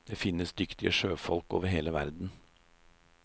Det finnes dyktige sjøfolk over hele verden.